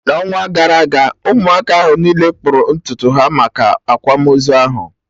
n'ọnwa gara aga Ụmụaka ahụ niile kpụrụ ntutu ha maka akwamozu ahụ